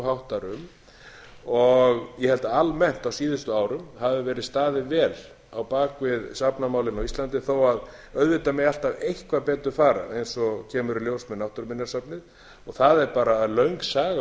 háttar um ég held að almennt á síðustu árum hafi verið staðið vel á bak við safnamálin á íslandi þó auðvitað megi alltaf eitthvað betur fara eins og kemur í ljós með náttúruminjasafnið það er bara löng saga á bak við